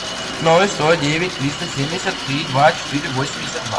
ноль сто девять триста семьдесят три два четыре восемьдесят два